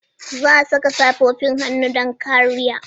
Za a saka safofin hannu don kariya.